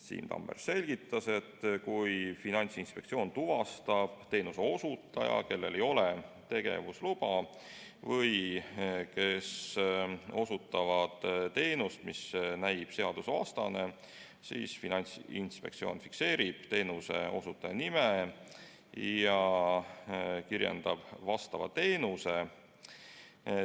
Siim Tammer selgitas, et kui Finantsinspektsioon tuvastab teenuseosutaja, kellel ei ole tegevusluba või kes osutab teenust, mis näib seadusvastane, siis Finantsinspektsioon fikseerib teenuseosutaja nime ja kirjendab vastava teenuse.